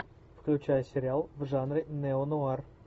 включай сериал в жанре нео нуар